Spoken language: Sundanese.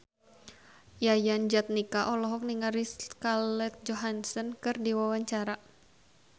Yayan Jatnika olohok ningali Scarlett Johansson keur diwawancara